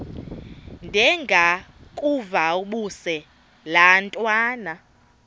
ndengakuvaubuse laa ntwana